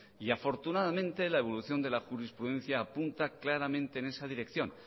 y afortunadamente la evolución de la jurisprudencia apunta claramente en esa dirección